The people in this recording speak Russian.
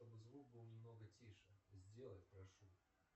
чтобы звук был немного тише сделай прошу